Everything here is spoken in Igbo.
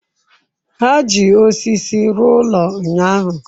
Ha ji osisi rụọ ụlọ ụnyahụ.